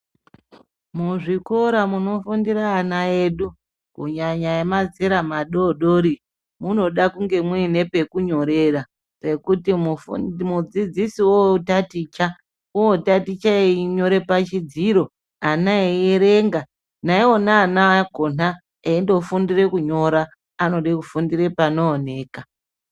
Muzvikora munofundira ana edu kunyanya emazera madodori munoda mune pekunyorera pekuti mudzidzisi otaticha, wotaticha echinyore pachidziro ana echierenga. Naiwona ana akona eindofundire kunyora anode kufundire panooneka.